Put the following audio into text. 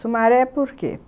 Sumaré por quê?